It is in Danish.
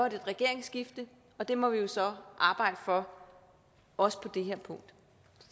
et regeringsskifte og det må vi jo så arbejde for også på det her punkt